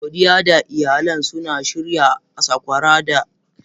Godiya da iyalin suna shirya saƙwara da miyar agushi a Kirsimeti.